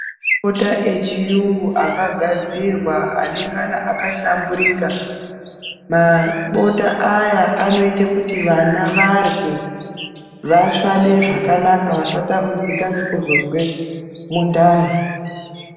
Bota rechirungu akagadzirwa anenge akahlamburuka mabota aya anoita kuti vana varye vasvade zvakanaka Vasatambudzika nekuzozwe mundani.